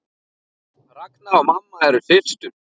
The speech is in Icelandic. Ragna og mamma eru systur.